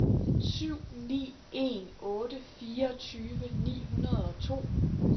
syv ni en otte fireogtyve ni hundrede og to